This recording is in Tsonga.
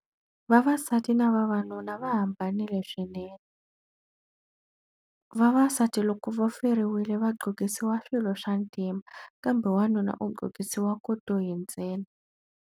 Vavasati na vavanuna va hambanile swinene. Vavasati loko va feriwile va qhokisiwa swilo swa ntima, kambe wanuna u qhokisiwa kotoyi ntsena.